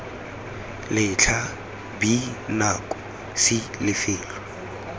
letlha b nako c lefelo